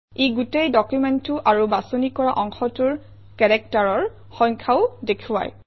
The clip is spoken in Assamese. ই গোটেই ডকুমেণ্টটো আৰু বাছনি কৰা অংশটোৰ কেৰেক্টাৰৰ সংখ্যাও দেখুৱায়